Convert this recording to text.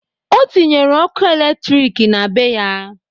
O tinyere okụ elektrik na be ya.